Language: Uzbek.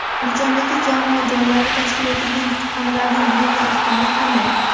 Andijondagi jamoat joylarida tashkil etilgan kutubxonalarning bugungi ahvoli qanday?